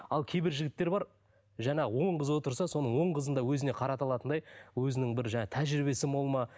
ал кейбір жігіттер бар жаңағы он қыз отырса соның он қызын да өзіне қарата алатындай өзінің бір жаңағы тәжірибесі мол ма